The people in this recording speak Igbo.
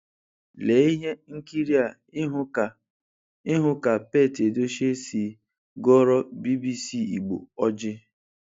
Lee ihe nkịrịa ịhụ ka ihụ ka Pete Edochie si gọọrọ BBC Igbo ọjị: